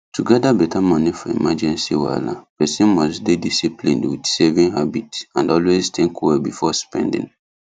to gather better money for emergency wahala person must dey disciplined with saving habit and always think well before spending